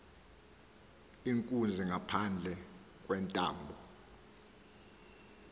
inkunzi ngaphandle kwentambo